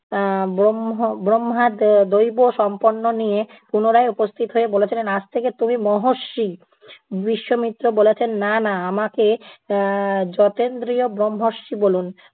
এ্যা ব্রহ্ম~ ব্রহ্মা আহ দৈব সম্পন্ন নিয়ে পুনরায় উপস্থিত হয়ে বলেছিলেন আজ থেকে তুমি মহর্ষি। বিশ্বমিত্র বলেছেন, না না আমাকে এ্যা জতেন্দ্রিয় ব্রহ্মর্ষি বলুন।